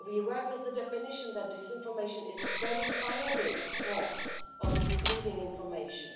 We work with the definition that disinformation is verifiably false or misleading information